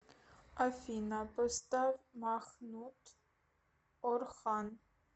афина поставь махмут орхан